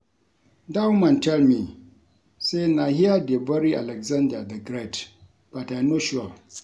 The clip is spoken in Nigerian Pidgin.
Dat woman tell me say na here dey bury Alexander the great but I no sure